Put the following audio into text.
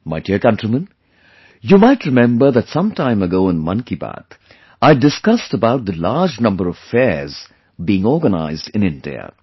My dear countrymen, you might remember that some time ago in 'Mann Ki Baat' I had discussed about the large number of fairs being organized in India